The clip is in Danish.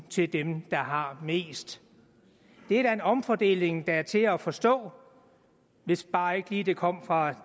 til dem der har mest det er da en omfordeling der er til at forstå hvis bare ikke lige det kom fra